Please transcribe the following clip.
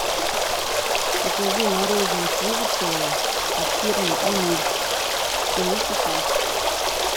закажи мороженое сливочное от фирмы эмиль к семи часам